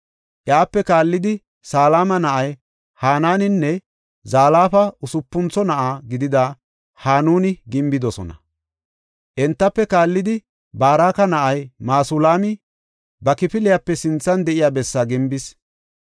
Iyape kaallidi Salama na7ay Hananinne Zalafa usupuntho na7a gidida Hanunra gimbidosona. Entafe kaallidi Baraka na7ay Masulaami ba kifiliyape sinthan de7iya bessaa gimbis.